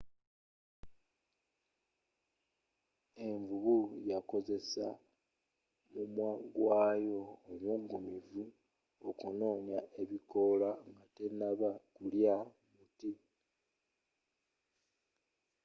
envubu yakozeseza mumwagwayo omuggumivu okunoga ebikoola nga tenaba kulya muti